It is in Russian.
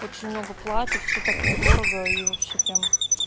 очень много платьев всё так недорого и вообще прямо